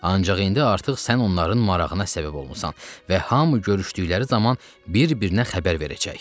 Ancaq indi artıq sən onların marağına səbəb olmusan və hamı görüşdükdə zaman bir-birinə xəbər verəcək.